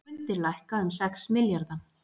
Skuldir lækka um sex milljarða